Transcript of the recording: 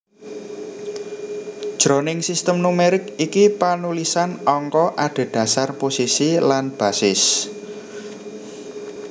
Jroning sistem numerik iki panulisan angka adhedhasar posisi lan basis